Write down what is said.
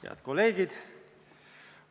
Head kolleegid!